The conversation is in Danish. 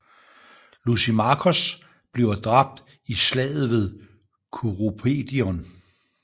Lysimakos bliver dræbt i Slaget ved Kurupedion